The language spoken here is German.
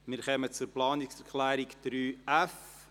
Wir kommen zu Planungserklärung 3.f.